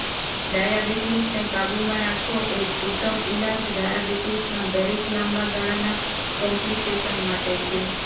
ડાયાબિટીસને કાબૂમાં રાખવો એ જ ઉત્તમ ઇલાજ ડાયાબિટીસના દરેક લાંબા ગાળાના કોમ્પ્લિકેશન માટે છે